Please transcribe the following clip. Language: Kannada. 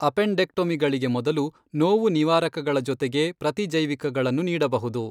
ಅಪೆಂಡೆಕ್ಟೊಮಿಗಳಿಗೆ ಮೊದಲು, ನೋವು ನಿವಾರಕಗಳ ಜೊತೆಗೆ ಪ್ರತಿಜೈವಿಕಗಳನ್ನು, ನೀಡಬಹುದು.